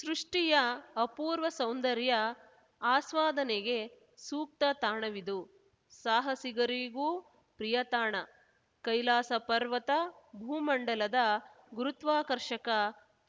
ಸೃಷ್ಟಿಯ ಅಪೂರ್ವ ಸೌಂದರ್ಯ ಆಸ್ವಾದನೆಗೆ ಸೂಕ್ತ ತಾಣವಿದು ಸಾಹಸಿಗರಿಗೂ ಪ್ರಿಯ ತಾಣ ಕೈಲಾಸಪರ್ವತ ಭೂಮಂಡಲದ ಗುರುತ್ವಾಕರ್ಷಕ